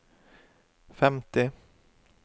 femti